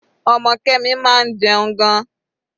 Ọmọ Kemi máa ń jẹun gan-an.